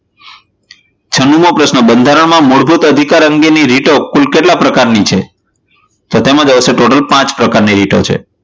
છનુંમો પ્રશ્ન બંધારણમાં મૂળભૂત અધિકાર અંગેની રિટો કુલ કેટલા પ્રકારની છે? તો તેમાં જવાબ આવશે ટોટલ પાંચ પ્રકારની રીતો છે.